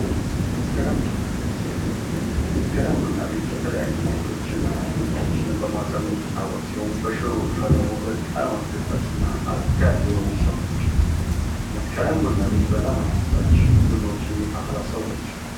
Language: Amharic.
መስከረም ቡና ቤት መስከረም ቡና ቤት የተለያዩ ቁርሶችን እና ቡናዎችን በማቅረብ የምትታወቅ ሲሆን በሮቿ ደግሞ በጣም አስደሳች አጥጋቢ የሆነች ሰው ነች። መስከረም ቡና ቤት በጣም አስደሳች ቡናዎችን የምታፈላ ሰው ነች።